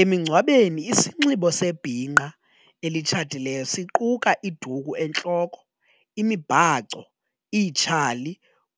Emingcwabeni isinxibo sebhinqa elitshatileyo siquka iduku entloko, imibhaco, itshali